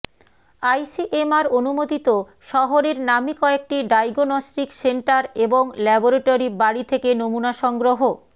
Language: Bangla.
আইসিএমআর অনুমোদিত শহরের নামী কয়েকটি ডায়াগনস্টিক সেন্টার এবং ল্যাবরেটরি বাড়ি থেকে নমুনা সংগ্রহ